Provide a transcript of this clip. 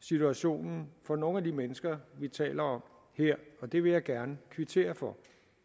situationen for nogle af de mennesker vi taler om her og det vil jeg gerne kvittere for